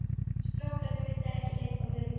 Strákarnir vildu ekki hleypa mér út.